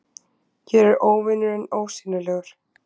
Hér er óvinurinn ósýnilegur